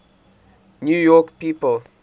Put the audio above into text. new york people